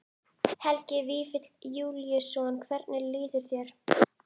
Helgi Vífill Júlíusson: Hvernig líður þér?